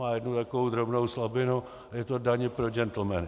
Má jednu takovou drobnou slabinu - je to daň pro džentlmeny.